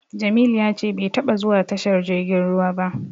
Jamilu ya ce bai taba zuwa tashar jirgin ruwa ba.